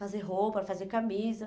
Fazer roupa, fazer camisa.